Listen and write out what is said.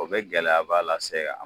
O bɛ gɛlɛyaba lasɛ a